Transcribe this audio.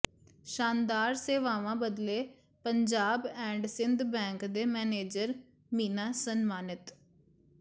ਸ਼ਾਨਦਾਰ ਸੇਵਾਵਾਂ ਬਦਲੇ ਪੰਜਾਬ ਐਂਡ ਸਿੰਧ ਬੈਂਕ ਦੇ ਮੈਨੇਜਰ ਮੀਨਾ ਸਨਮਾਨਿਤ